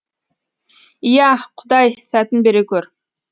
ия құдай сәтін бере көр